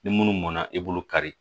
Ni munnu mɔnna i b'olu kari